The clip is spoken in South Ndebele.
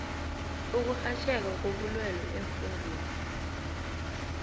ukurhatjheka kobulwele eemfundeni